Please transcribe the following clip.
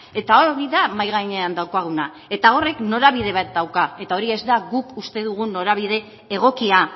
eta hori da mahai gainean daukaguna eta horrek norabide bat dauka eta hori ez da guk uste dugun norabide egokia